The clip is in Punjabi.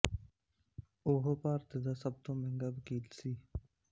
ਉਹ ਭਾਰਤ ਦਾ ਸਭ ਤੋਂ ਮਹਿੰਗਾ ਵਕੀਲ ਸੀ